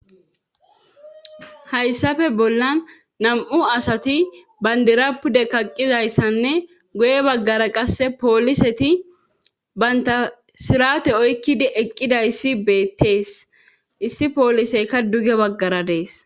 Hayssafe bollan nam'u asati bandira pude kaqqizayssanne goye baggara qasse pooliseti baynta sirate oykkidi eqqidayssi beettees issi pooliseyka duge baggara dees.